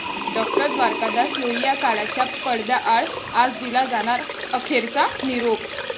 डाॅ. द्वारकादास लोहिया काळाच्या पडद्याआड, आज दिला जाणार अखेरचा निरोप